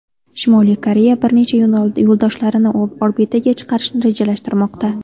Shimoliy Koreya bir nechta yo‘ldoshlarini orbitaga chiqarishni rejalashtirmoqda.